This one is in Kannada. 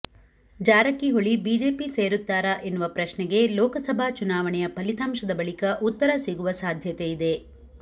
ಜಾರಕಿಹೊಳಿ ಬಿಜೆಪಿ ಸೇರುತ್ತಾರಾ ಎನ್ನುವ ಪ್ರಶ್ನೆಗೆ ಲೋಕಸಭಾ ಚುನಾವಣೆಯ ಫಲಿತಾಂಶದ ಬಳಿಕ ಉತ್ತರ ಸಿಗುವ ಸಾಧ್ಯತೆಯಿದೆ